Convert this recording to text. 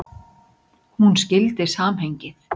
Hún skildi samhengið.